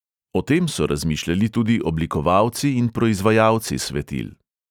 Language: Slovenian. O tem so razmišljali tudi oblikovalci in proizvajalci svetil.